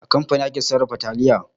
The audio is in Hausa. A kamfani ake sarrafa taliya.